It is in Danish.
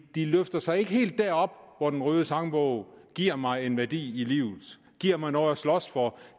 løfter sig ikke helt derop hvor den røde sangbog giver mig en værdi i livet giver mig noget at slås for